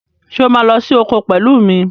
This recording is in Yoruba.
Ṣé o máa lọ sí oko pẹ̀lú mi?